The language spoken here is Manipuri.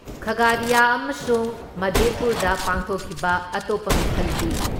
ꯈꯥꯥꯒꯥꯔꯤꯌꯥ ꯑꯃꯁꯨꯡ ꯃꯥꯙꯦꯄꯨꯔꯥꯗ ꯄꯥꯡꯊꯣꯛꯈꯤꯕ ꯑꯇꯣꯞꯄ ꯃꯤꯈꯜꯒꯤ